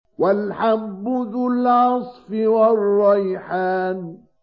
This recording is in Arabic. وَالْحَبُّ ذُو الْعَصْفِ وَالرَّيْحَانُ